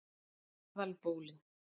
Aðalbóli